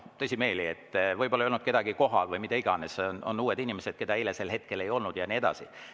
Võib-olla ei olnud kedagi kohal või mida iganes, on uued inimesed, keda eile sel hetkel ei olnud, ja nii edasi.